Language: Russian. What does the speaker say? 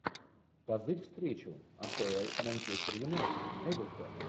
позырь встречу апл манчестер юнайтед эвертон